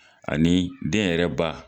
Ani den yɛrɛ ba.